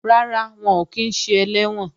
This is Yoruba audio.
Rárá, wọn ò kí ń ṣe ẹlẹ́wọ̀n